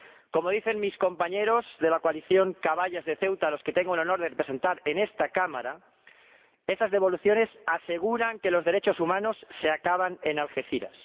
Como dicen mis compañeros de la Coalición Caballas de Ceuta, a los que tengo el honor de representar en esta Cámara, esas devoluciones aseguran que los derechos humanos se acaban en Algeciras.